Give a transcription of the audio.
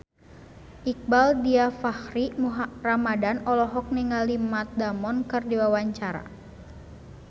Iqbaal Dhiafakhri Ramadhan olohok ningali Matt Damon keur diwawancara